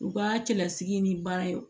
U ka cɛlasigi ni baara ye